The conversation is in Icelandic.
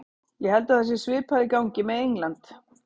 Ég held að það sé svipað í gangi með England.